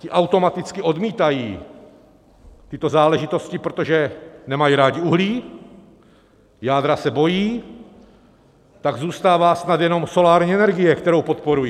Ti automaticky odmítají tyto záležitosti, protože nemají rádi uhlí, jádra se bojí, tak zůstává snad jenom solární energie, kterou podporují.